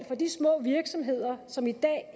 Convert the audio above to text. små virksomheder som i dag